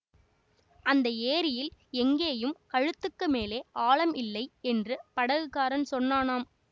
அந்த ஏரியில் எங்கேயும் கழுத்துக்கு மேலே ஆழம் இல்லை என்று படகுக்காரன் சொன்னானாம்